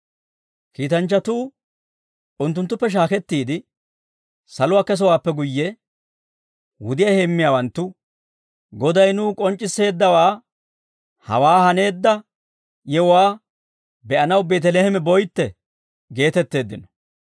Kiitanchchatuu unttunttuppe shaakettiide saluwaa kesowaappe guyye, wudiyaa heemmiyaawanttu, «Goday nuw k'onc'c'isseeddawaa, hawaa haneedda yewuwaa be'anaw Beeteleeme boytte» geetetteeddino.